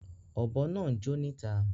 Ọ̀bọ̀ naa ńjó níta